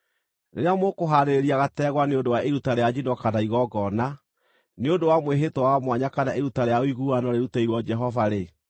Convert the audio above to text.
“ ‘Rĩrĩa mũkũhaarĩria gategwa nĩ ũndũ wa iruta rĩa njino kana igongona, nĩ ũndũ wa mwĩhĩtwa wa mwanya kana iruta rĩa ũiguano rĩrutĩirwo Jehova-rĩ,